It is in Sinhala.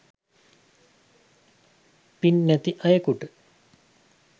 පින් නැති අයෙකුට